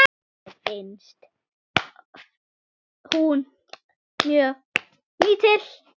Mér finnst hún mjög lítil.